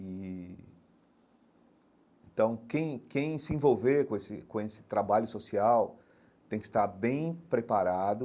E então, quem quem se envolver com esse com esse trabalho social tem que estar bem preparado